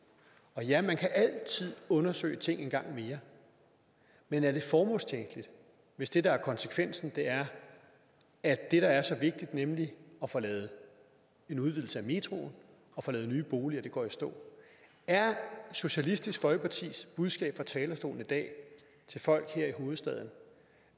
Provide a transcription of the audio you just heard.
og ja man kan altid undersøge ting en gang mere men er det formålstjenligt hvis det der er konsekvensen er at det der er så vigtigt nemlig at få lavet en udvidelse af metroen få lavet nye boliger går i stå er socialistisk folkepartis budskab fra talerstolen i dag til folk her i hovedstaden